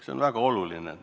See on väga oluline.